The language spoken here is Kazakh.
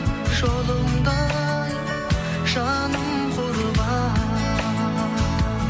жолыңда ай жаным құрбан